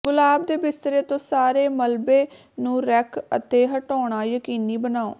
ਗੁਲਾਬ ਦੇ ਬਿਸਤਰੇ ਤੋਂ ਸਾਰੇ ਮਲਬੇ ਨੂੰ ਰੈਕ ਅਤੇ ਹਟਾਉਣਾ ਯਕੀਨੀ ਬਣਾਓ